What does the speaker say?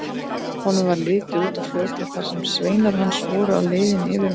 Honum varð litið út á fljótið þar sem sveinar hans voru á leiðinni yfir um.